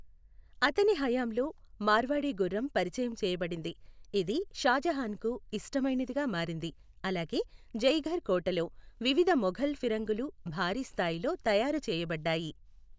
అతని హయాంలో, మార్వాడీ గుర్రం పరిచయం చేయబడింది, ఇది షాజహాన్కు ఇష్టమైనదిగా మారింది. అలాగే జైఘర్ కోటలో వివిధ మొఘల్ ఫిరంగులు భారీ స్థాయిలో తయారు చేయబడ్డాయి.